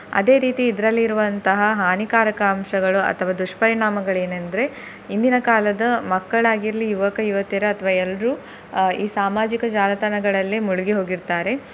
ಅದೇ ರೀತಿ ಇದರಲ್ಲಿ ಇರುವಂತಹ ಹಾನಿಕಾರಕ ಅಂಶಗಳು ಅಥವಾ ದುಷ್ಪರಿಣಾಮಗಳು ಏನಂದ್ರೆ ಇಂದಿನ ಕಾಲದ ಮಕ್ಕಳಾಗಿರ್ಲಿ ಯುವಕ ಯುವತಿಯರು ಅಥ್ವ ಎಲ್ರು ಅಹ್ ಈ ಸಾಮಾಜಿಕ ಜಾಲತಾಣಗಳಲ್ಲಿ ಮುಳುಗಿ ಹೋಗಿರ್ತಾರೆ.